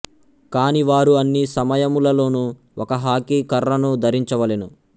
కానీ వారు అన్ని సమయములలోనూ ఒక హాకీ కఱ్ఱను ధరించవలెను